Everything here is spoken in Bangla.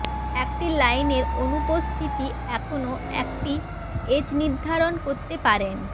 একটি লাইনের অনুপস্থিতি এখনও একটি এজ নির্ধারণ করতে পারেন